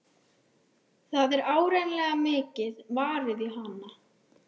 Það er áreiðanlega mikið varið í hana.